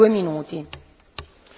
Frau Präsidentin!